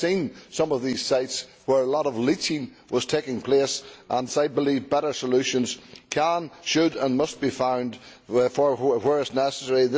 I have seen some of these sites where a lot of leaching was taking place and I believe better solutions can, should and must be found where necessary.